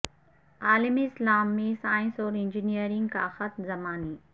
عالم اسلام میں سائنس اور انجنئیرنگ کا خط زمانی